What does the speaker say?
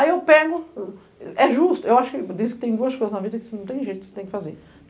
Aí eu pego, é justo, eu acho que tem duas coisas na vida que você não tem jeito, você tem que fazer.